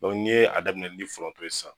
Dɔnke ni ye a daminɛ ni foronto ye sisan